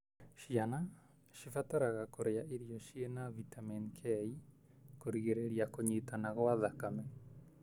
Ciana cibataraga kũrĩa irio cĩina vitamin K kũrigĩrĩria kũnyitana gwa thakame.